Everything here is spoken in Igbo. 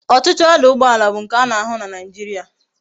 Otutu ọdụ̀ụgbọàlà bu nke a na ahu na naijiria